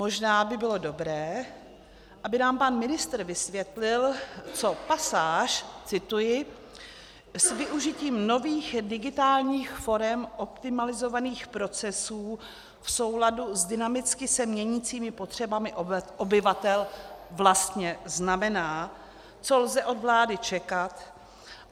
Možná by bylo dobré, aby nám pan ministr vysvětlil, co pasáž - cituji -"s využitím nových digitálních forem optimalizovaných procesů v souladu s dynamicky se měnícími potřebami obyvatel" vlastně znamená, co lze od vlády čekat.